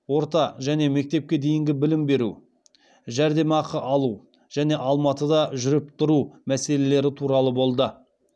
орта және мектепке дейінгі білім беру жәрдемақы алу және алматыда жүріп тұру мәселелері туралы болды